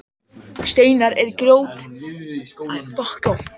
Steinar eða grjót verða til þegar berg molnar af einhverjum orsökum.